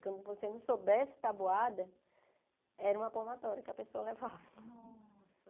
Quando você não soubesse a tabuada, era uma palmatória que a pessoa levava.